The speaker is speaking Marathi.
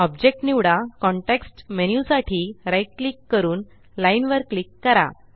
ऑब्जेक्ट निवडा कॉन्टेक्स्ट मेन्यु साठी right क्लिक करूनLine वर क्लिक करा